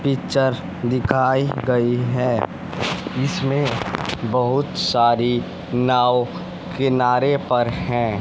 Picture दिखाई गई है। इसमें बहुत सारी नाव किनारे पर हैं।